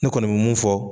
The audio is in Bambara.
Ne kɔni bɛ mun fɔ